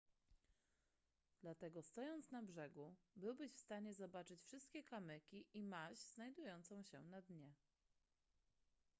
dlatego stojąc na brzegu byłbyś w stanie zobaczyć wszystkie kamyki i maź znajdujące się na dnie